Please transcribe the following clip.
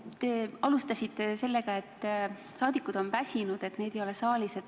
Te alustasite sellest, et saadikud on väsinud, et neid ei ole saalis.